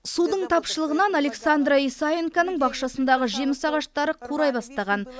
судың тапшылығынан александра исаенконың бақшасындағы жеміс ағаштары қурай бастаған